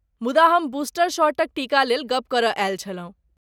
मुदा हम बूस्टर शॉटक टीकालेल गप्प करय आयल छलहुँ।